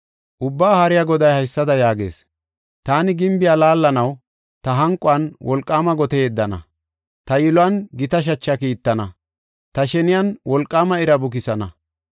Ubbaa Haariya Goday haysada yaagees: “Taani gimbiya laallanaw; ta hanquwan wolqaama gote yeddana; ta yiluwan gita shacha kiittana, ta sheniyan wolqaama ira bukisana.